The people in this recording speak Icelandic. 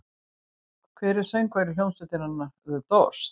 Hver var söngvari hljómsveitarinnar The Doors?